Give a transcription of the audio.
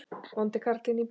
Vondi karlinn í bíó?